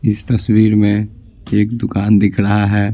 इस तस्वीर में एक दुकान दिख रहा है।